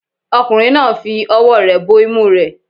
Ọkùnrin náà ń fi ọwọ́ rẹ̀ bo imú rẹ̀